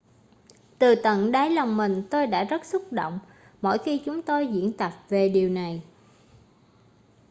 từ tận đáy lòng mình tôi đã rất xúc động mỗi khi chúng tôi diễn tập về điều này